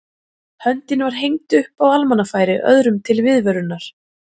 Höndin var hengd upp á almannafæri öðrum til viðvörunar.